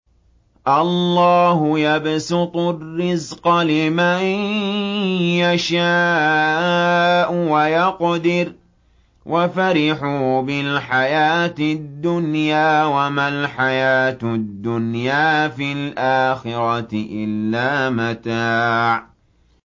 اللَّهُ يَبْسُطُ الرِّزْقَ لِمَن يَشَاءُ وَيَقْدِرُ ۚ وَفَرِحُوا بِالْحَيَاةِ الدُّنْيَا وَمَا الْحَيَاةُ الدُّنْيَا فِي الْآخِرَةِ إِلَّا مَتَاعٌ